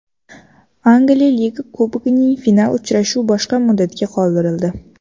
Angliya Liga Kubogining final uchrashuv boshqa muddatga qoldirildi.